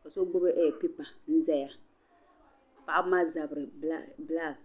ka so gbuni pipa n ʒɛya paɣaba maa zabiri bilak